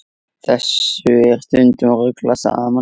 Þessu er stundum ruglað saman.